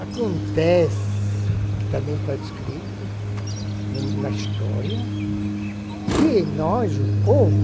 Acontece, que também tá escrito na na história, que nós, o povo,